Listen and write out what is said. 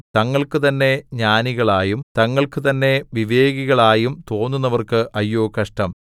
തങ്ങൾക്കുതന്നെ ജ്ഞാനികളായും തങ്ങൾക്കുതന്നെ വിവേകികളായും തോന്നുന്നവർക്ക് അയ്യോ കഷ്ടം